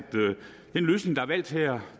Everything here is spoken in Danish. den løsning der er valgt her